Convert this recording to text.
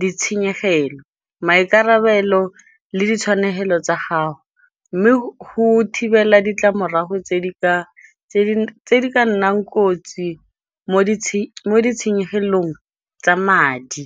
ditshenyegelo, maikarabelo le ditshwanelo tsa gago mme go thibela ditlamorago tse di ka nnang kotsi mo ditshenyegelong tsa madi.